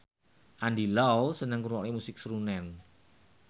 Andy Lau seneng ngrungokne musik srunen